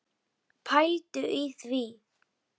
Pældu í því.